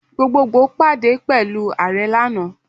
Gbogbogbo pade pẹlu Aare ana.